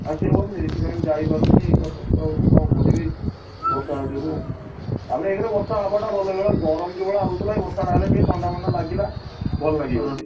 ଆସିହବନି ସେଇଥିପାଇଁ, ମୁଁ ଯାଇ ପାରୁନି କଷ୍ଟ ହଉଛି କଣ କରିବି, ବର୍ଷା ଯୋଗୁ, ତାପରେ ଏକରେ ବର୍ଷା ହବା ଟା ଭଲ ଏଇଖିଣା ଗରମ ଯୋଉ ଭଳିଆ ହଉଥିଲା ଏଇ ବର୍ଷା ଟା ହେଲା ଟିକେ ଥଣ୍ଡା ଫଣ୍ଡା ଲାଗିଲା, ଭଲ ଲାଗିବ ଟିକେ।